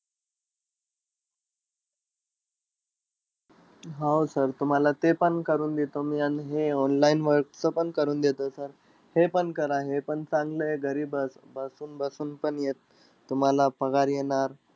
हो sir तुम्हाला ते पण करून देतो मी, आणि हे online वरचं पण करून देतो sir. हे पण करा हे पण चांगलंय घरी ब बसून-बसून पण तुम्हाला पगार येणार.